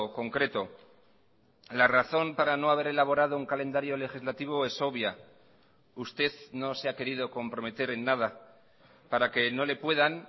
concreto la razón para no haber elaborado un calendario legislativo es obvia usted no se ha querido comprometer en nada para que no le puedan